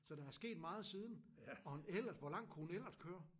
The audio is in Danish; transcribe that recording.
Så der er sket meget siden og en Ellert hvor langt kunne en Ellert køre?